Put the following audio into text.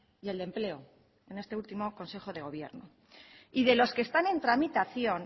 y el de empleo en este último consejo de gobierno y de los que están en tramitación